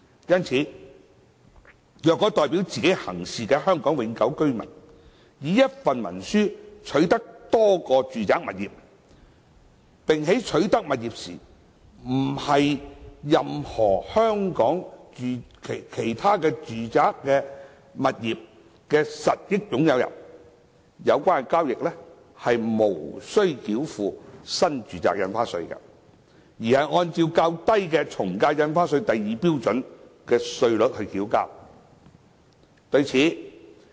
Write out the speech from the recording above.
因此，若代表自己行事的香港永久性居民以一份文書取得多個住宅物業，並在取得物業時不是任何其他香港住宅物業的實益擁有人，有關交易無須繳付新住宅印花稅，而是按較低的從價印花稅第2標準稅率繳稅。